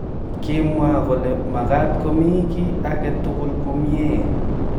Kimwa kole makaat komii kii agetugul komyei